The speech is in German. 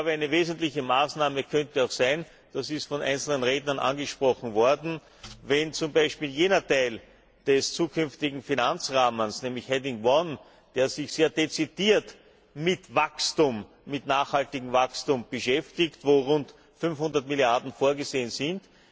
Ich glaube, eine wesentliche Maßnahme könnte auch sein das ist von einzelnen Rednern auch angesprochen worden, wenn zum Beispiel bei jenem Teil des zukünftigen Finanzrahmens nämlich Rubrik 1 der sich sehr dezidiert mit nachhaltigem Wachstum beschäftigt, wo rund 500 Milliarden vorgesehen sind,